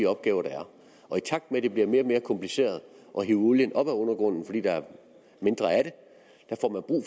opgaver der er og i takt med at det bliver mere og mere kompliceret at hive olien op af undergrunden fordi der er mindre af den